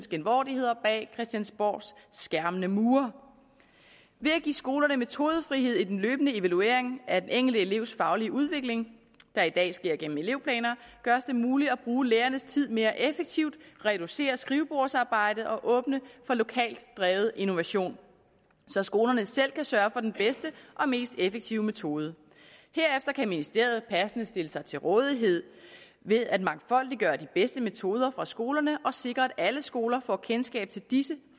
bag christiansborgs skærmende mure ved at give skolerne metodefrihed i den løbende evaluering af den enkelte elevs faglige udvikling der i dag sker gennem elevplaner gøres det muligt at bruge lærernes tid mere effektivt reducere skrivebordsarbejdet og åbne for lokalt drevet innovation så skolerne selv kan sørge for den bedste og mest effektive metode herefter kan ministeriet passende stille sig til rådighed ved at mangfoldiggøre de bedste metoder fra skolerne og sikre at alle skoler får kendskab til disse